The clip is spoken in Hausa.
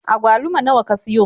Agwaluma nawa ka siyo?